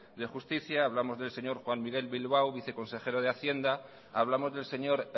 de justicia hablamos del señor juan miguel bilbao viceconsejero de hacienda hablamos del señor